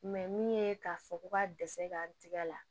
min ye k'a fɔ ko ka dɛsɛ gan tigɛ la